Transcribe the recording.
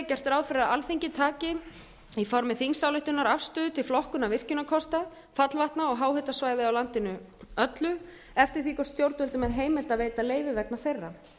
gert er ráð fyrir að alþingi taki í formi þingsályktunar afstöðu til flokkunar virkjunarkosta fallvatna og háhitasvæða á landinu öllu eftir því hvort stjórnvöldum er heimilt að veita leyfi vegna þeirra